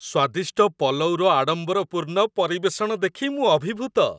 ସ୍ୱାଦିଷ୍ଟ ପଲଉର ଆଡମ୍ବରପୂର୍ଣ୍ଣ ପରିବେଷଣ ଦେଖି ମୁଁ ଅଭିଭୂତ।